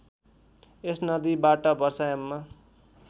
यस नदीबाट वर्षायाममा